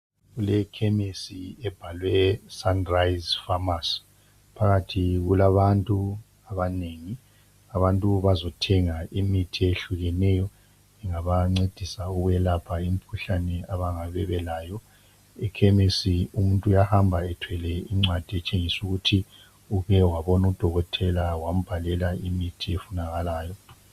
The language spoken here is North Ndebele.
Kulekhemesi ebhalweSunrise Pharmacy. Phakathi kulabantu abanengi. Abantu bazothenga imithi eyehlukeneyo. Engabancedisa ukwelapha imikhuhlane,, abayabe belayo. Ekhemisi umuntu uyahamba ethwele incwadi etshengisa ukuthi uke wabona udokotela, wambhalela imithi efunakalayo.